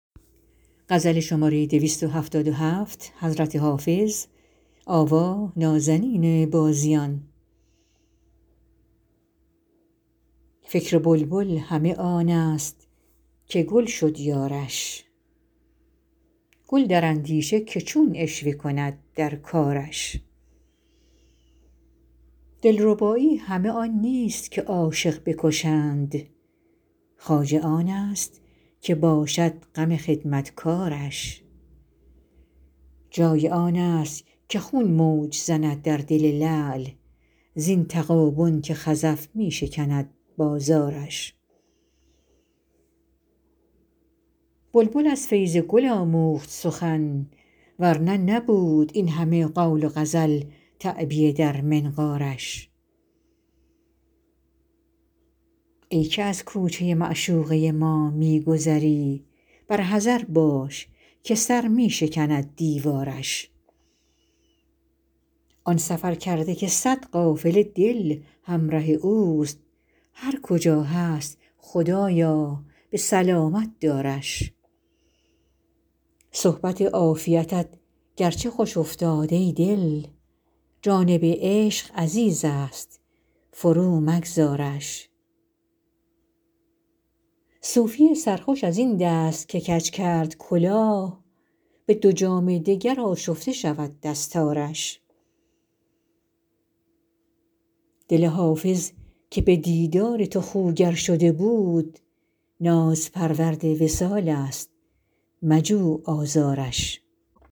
فکر بلبل همه آن است که گل شد یارش گل در اندیشه که چون عشوه کند در کارش دلربایی همه آن نیست که عاشق بکشند خواجه آن است که باشد غم خدمتکارش جای آن است که خون موج زند در دل لعل زین تغابن که خزف می شکند بازارش بلبل از فیض گل آموخت سخن ور نه نبود این همه قول و غزل تعبیه در منقارش ای که در کوچه معشوقه ما می گذری بر حذر باش که سر می شکند دیوارش آن سفرکرده که صد قافله دل همره اوست هر کجا هست خدایا به سلامت دارش صحبت عافیتت گرچه خوش افتاد ای دل جانب عشق عزیز است فرومگذارش صوفی سرخوش از این دست که کج کرد کلاه به دو جام دگر آشفته شود دستارش دل حافظ که به دیدار تو خوگر شده بود نازپرورد وصال است مجو آزارش